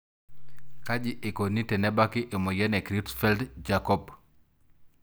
Kaji eikoni tenebaki emoyian e Creutzfeldt jakob?